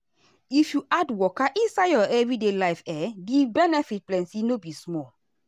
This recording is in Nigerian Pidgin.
if you add waka inside your everyday life[um]the benefit plenty no be small.